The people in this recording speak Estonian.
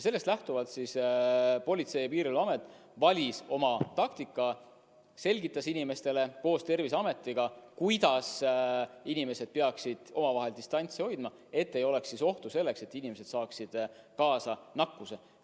Sellest lähtuvalt Politsei- ja Piirivalveamet valis oma taktika: selgitas inimestele koos Terviseametiga, kuidas inimesed peaksid omavahel distantsi hoidma, et ei oleks ohtu, et inimesed saaksid nakkuse.